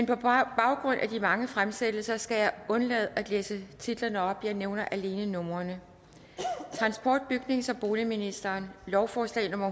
på baggrund af de mange fremsættelser skal jeg undlade at læse titlerne op jeg nævner alene numrene transport bygnings og boligministeren lovforslag nummer